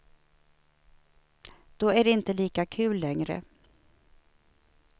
Då är det inte lika kul längre.